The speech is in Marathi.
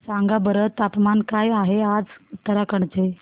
सांगा बरं तापमान काय आहे आज उत्तराखंड चे